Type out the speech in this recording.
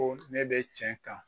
Ko ne bɛ tiɲɛ kan